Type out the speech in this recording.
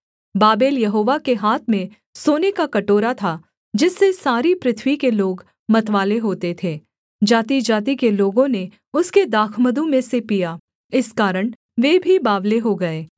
Babel यहोवा के हाथ में सोने का कटोरा था जिससे सारी पृथ्वी के लोग मतवाले होते थे जातिजाति के लोगों ने उसके दाखमधु में से पिया इस कारण वे भी बावले हो गए